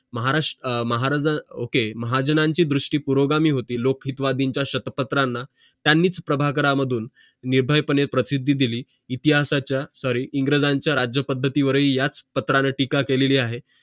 महाराष आह महाराज महाजनांची दृष्टी पूर्व गामी होती लोकहितवादींच्या शतपत्रांना त्यांनीच प्रभाकरा मधून निर्भयपणे प्रसिद्धी दिली इतिहासाच्या sorry इंग्रजांच्या राज्यपद्धतीवरही याच पत्राने टीका केलेली आहे